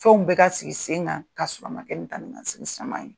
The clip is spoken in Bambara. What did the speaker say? Fɛnw bɛɛ ka sigi sen kan k'a sɔrɔ a ma kɛ ni taa ni ka segin caman ye.